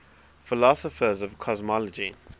philosophers of cosmology